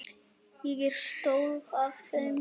Ég er stolt af þér.